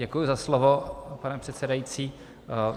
Děkuji za slovo, pane předsedající.